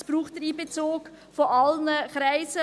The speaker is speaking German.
Es braucht den Einbezug von allen Kreisen.